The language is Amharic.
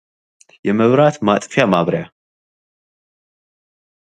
የመብራት ማጥፊያ ማብሪያ ።